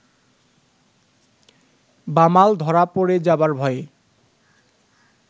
বামাল ধরা পড়ে যাবার ভয়ে